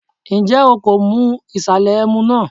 Ǹjẹ́ o kò mu ìsàlẹ̀ ẹmu náà?